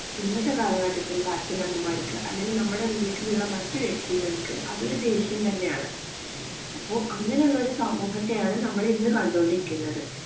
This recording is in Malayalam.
ഇന്നത്തെ കാലഘട്ടത്തിലുള്ള അച്ഛനമ്മമാർക്ക് അല്ലെങ്കിൽ നമ്മുടെ വീട്ടിലുള്ള മറ്റു വ്യക്തികൾക്ക് അതൊരു ദേഷ്യം തന്നെയാണ്. അപ്പോ അങ്ങനെയുള്ള ഒരു സമൂഹത്തെയാണ് നമ്മൾ ഇന്ന് കണ്ടുകൊണ്ടിരിക്കുന്നത്.